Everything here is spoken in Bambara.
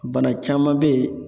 Bana caman be ye